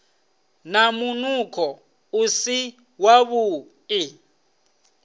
na munukho u si wavhuḓi